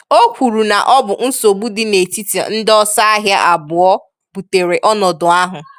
O kwuru na ọ bụ nsogbu dị netiti ndị ọsọ ahịa abụọ butere ọnọdụ ahụ.